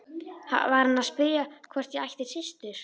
Var hann að spyrja hvort ég ætti systur?